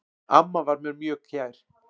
Amma var mér mjög kær.